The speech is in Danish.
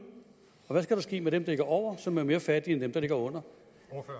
og hvad skal der ske med dem der ligger over som er mere fattige end dem der ligger under